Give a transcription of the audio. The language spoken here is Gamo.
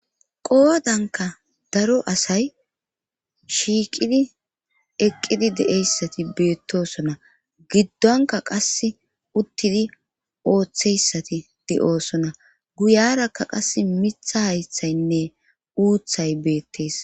qowodanka daro asay shiiqidi eqqidi de7eyssati beettosona giddonka qas uttidi ooththeyssati de7oosona guyarakka qas mitha haythaynne uuthay beettees